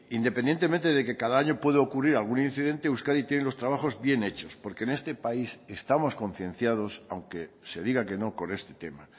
independientemente de que cada año puede ocurrir algún incidente euskadi tiene los trabajos bien hechos porque en este país estamos concienciados aunque se diga que no con este tema